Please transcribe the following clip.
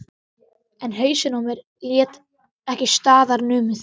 En hausinn á mér lét ekki staðar numið.